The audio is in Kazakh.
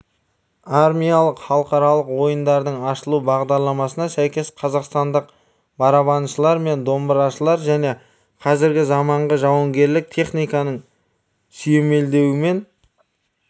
армиялық халықаралық ойындардың ашылу бағдарламасына сәйкес қазақстандық барабаншылар мен домбырашылар және қазіргі заманғы жауынгерлік техниканың сүйемелдеуімен